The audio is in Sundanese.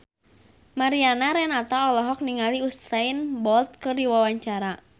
Mariana Renata olohok ningali Usain Bolt keur diwawancara